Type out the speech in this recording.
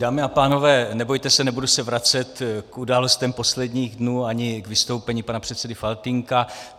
Dámy a pánové, nebojte se, nebudu se vracet k událostem posledních dnů ani k vystoupení pana předsedy Faltýnka.